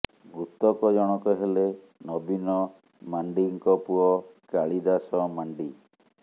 ମୃତକ ଜଣକ ହେଲେ ନବୀନ ମାର୍ଣ୍ଡିଙ୍କ ପୁଅ କାଳିଦାସ ମାର୍ଣ୍ଡି